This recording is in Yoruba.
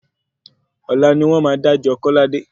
Ọ̀la ni wn máa dájọ́ kọ́ládé.